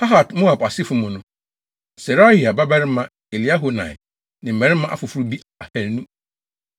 Pahat-Moab asefo mu no: Serahia babarima Eliehoenai ne mmarima afoforo bi ahannu.